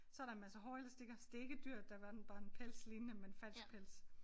Så der en masse hårelastikker så det ikke et dyr der hverken bare en pelslignende men en falsk pels